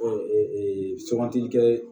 sugantili kɛ